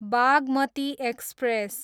Bhagmati express